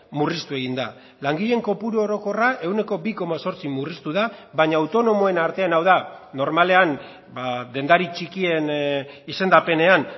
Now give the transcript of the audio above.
murriztu egin da langileen kopuru orokorra ehuneko bi koma zortzi murriztu da baina autonomoen artean hau da normalean dendari txikien izendapenean